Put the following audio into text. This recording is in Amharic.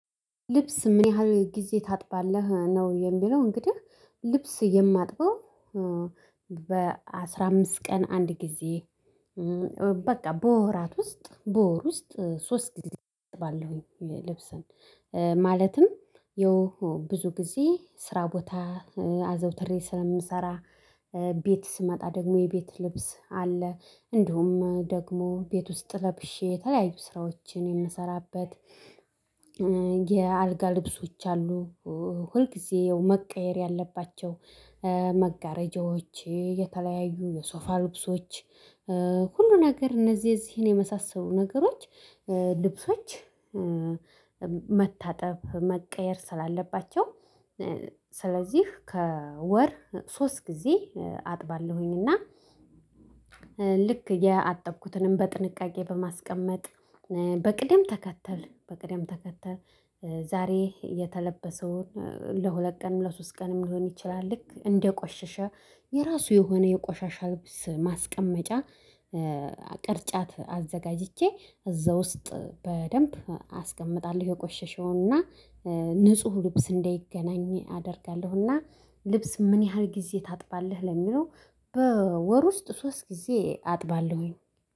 ልብስ ምን ያህል ጊዜ ታጥባለህ ነው? የሚለው እንግዲህ ልብስ የማጥበው በአስራ አምስት ቀን አንድ ጊዜ በቃ በወራት ውስጥ በወር ውስጥ ሶስት ግዜ አጥባለሁኝ። ልብስን ማለትም ያው ብዙ ጊዜ ስራ ቦታ አዘውትሬ ስለምሰራ ቤት ስመጣ ደግሞ የቤት ልብስ አለ። እንዲሁም ደግሞ ቤት ውስጥ ለብሼ የተለያዩ ስራዎችን የምሰራበት የአልጋ ልብሶች አሉ። ሁልጊዜ ያው መቀየር ያለባቸው መጋረጃዎች የተለያዩ የሶፋ ልብሶች ሁሉ ነገር እነዚህ እዚህን የመሳሰሉ ነገሮች ልብሶች። መታጠብ መቀየር ስላለባቸው ስለዚህ ከወር ሶስት ጊዜ አጥባለሁኝ። እና ልክ የአጠብኩትንም በጥንቃቄ በማስቀመጥ በቅደም ተከተል በቅደም ተከተል ዛሬ የተለበሰውን ለሁለት ቀን ለሶስት ቀንም ሊሆን ይችላል። ልክ እንደቆሸሸ የራሱ የሆነ የቆሻሻ ልብስ ማስቀመጫ ቅርጫት አዘጋጅቼ እዛ ውስጥ በደንብ አስቀምጣለሁ። የቆሸሽው እና ንጹህ ልብስ እንዳይገናኝ አደርጋለሁ። እና ልብስ ምን ያህል ጊዜ ታጥባለህ? ለሚለው በወር ውስጥ ሶስት ጊዜ አጥባለሁኝ።